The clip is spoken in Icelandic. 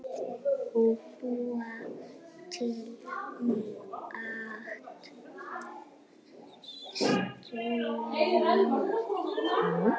Búa til mat- sauma